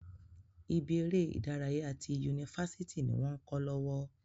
Ibi eré ìdárayá ti yunifásítì ni wọn kọ lọwọ.